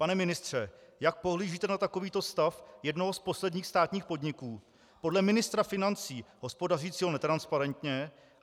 Pane ministře, jak pohlížíte na takovýto stav jednoho z posledních státních podniků, podle ministra financí hospodařícího netransparentně?